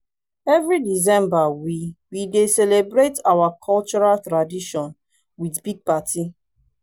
every december we we dey celebrate our cultural tradition with big party